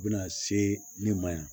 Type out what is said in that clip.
U bɛna se min ma yan